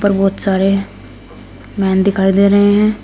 बहोत सारे मैन दिखाई दे रहे हैं।